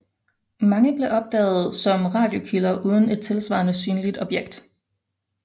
Mange blev opdaget som radiokilder uden et tilsvarende synligt objekt